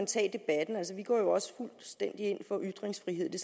tage debatten altså vi går jo også fuldstændig ind for ytringsfrihed det